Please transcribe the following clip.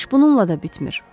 İş bununla da bitmir.